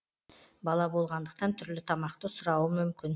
бала болғандықтан түрлі тамақты сұрауы мүмкін